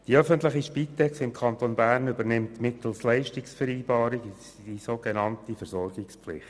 Die öffentliche Spitex im Kanton übernimmt mittels Leistungsvereinbarung die sogenannte Versorgungspflicht.